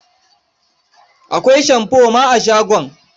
Akwai shamfo ma a shagon.